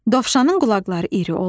Dovşanın qulaqları iri olur.